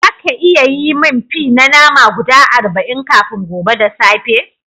Zaka iya yi mun fi na nama guda arba'in kafin gobe da safe?